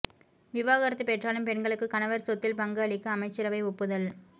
விவாகரத்து பெற்றாலும் பெண்களுக்கு கணவர் சொத்தில் பங்கு அளிக்க அமைச்சரவை ஒப்புதல்